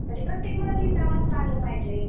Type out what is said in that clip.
म्हणजे प्रत्येक मुलाला लिहिता वाचता आलं पाहिजे.